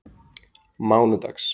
mánudags